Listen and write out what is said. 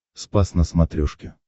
спас на смотрешке